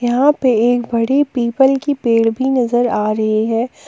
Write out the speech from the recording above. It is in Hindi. यहां पे एक बड़ी पीपल की पेड़ भी नजर आ रही है।